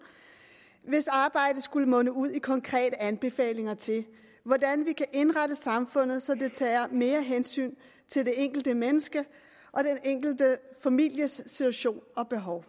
hvis arbejde skulle munde ud i konkrete anbefalinger til hvordan vi kan indrette samfundet så det tager mere hensyn til det enkelte menneske og den enkelte families situation og behov